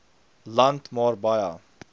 land maar baie